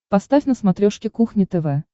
поставь на смотрешке кухня тв